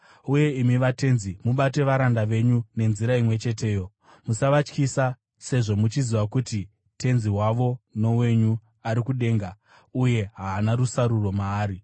Uye imi vatenzi, mubate varanda venyu nenzira imwe cheteyo. Musavatyisa, sezvo muchiziva kuti Tenzi wavo nowenyu ari kudenga, uye haana rusaruro maari.